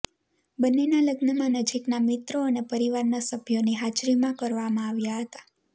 બંનેના લગ્નમાં નજીકનાં મિત્રો અને પરિવારનાં સભ્યોની હાજરીમાં કરવામાં આવ્યા હતા